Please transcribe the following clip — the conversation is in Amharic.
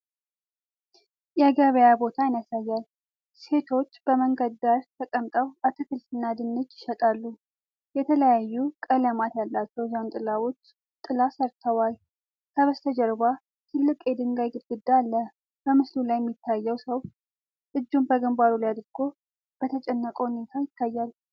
የገበያ ቦታን ያሳያል። ሴቶች በመንገድ ዳር ተቀምጠው አትክልትና ድንች ይሸጣሉ። የተለያዩ ቀለማት ያላቸው ዣንጥላዎች ጥላ ሰጥተዋል። ከበስተጀርባ ትልቅ የድንጋይ ግድግዳ አለ። በምስሉ ላይ የሚታየው ሰው እጁን በግንባሩ ላይ አድርጎ በተጨነቀ ሁኔታ ይታያል።